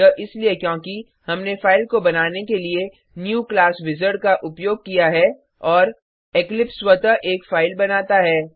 यह इसलिए क्योंकि हमने फाइल को बनाने के लिए न्यू क्लास विजार्ड का उपयोग किया है और इक्लिप्स स्वतः एक फाइल बनाता है